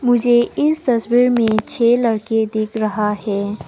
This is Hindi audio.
मुझे इस तस्वीर में छ लड़के दिख रहा है।